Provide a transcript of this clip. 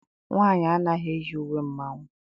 Nwaanyị anaghị eyi uwe mmanwụ.